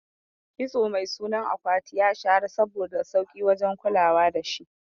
Kitso mai sunan akwati ya shahara saboda sauki wajen kulawa dashi